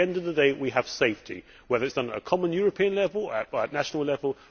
At the end of the day we have safety, whether it is done at a common European level or at national level.